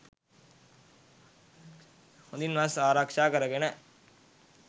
හොඳින් වස් ආරක්ෂා කරගෙන,